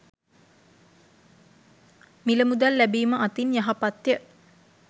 මිල මුදල් ලැබිම අතින් යහපත්ය.